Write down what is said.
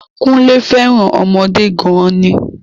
Kúnlé féràn ọmọdé gan ni